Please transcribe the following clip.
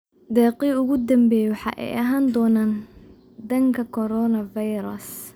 Deeqihii ugu dambeeyay waxa ay ahaan doonaan dhanka coronavirus.